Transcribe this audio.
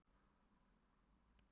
Lokahóf ÍR fór fram á laugardaginn.